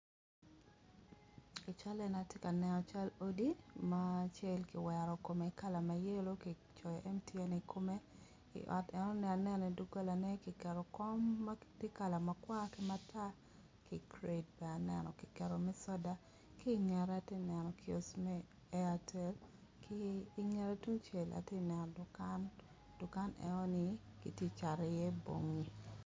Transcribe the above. I cal eni atye ka neno cal odi ma acel kiwero kome kala ma yelo kicoyo MTN I kome iot eno aneno idogolane kiketo kom ma tye ka makwar ki matar ki kret bene aneno kiketo me soda ki ingette ati neno kiosk me Airtel ki ingette tungcel ati neno dukan dukan enoni kiti cato iye bongi.